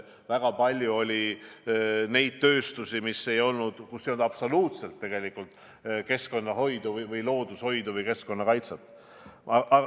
Väga palju oli tööstusi, kus ei olnud absoluutselt keskkonnahoidu või loodushoidu või keskkonnakaitset.